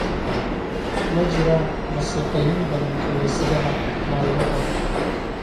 Ma jiraan Masiixiyiin badan kaniisaddaha maalmahan